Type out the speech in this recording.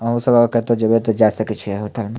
अहो सब आब कतो जेबे ते जाय सकय छीये --